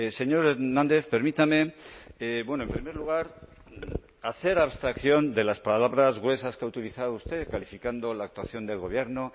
señor hernández permítame en primer lugar hacer abstracción de las palabras gruesas que ha utilizado usted calificando la actuación del gobierno